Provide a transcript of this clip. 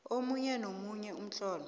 omunye nomunye umtlolo